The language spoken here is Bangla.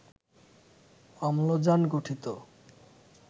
অম্লজান গঠিত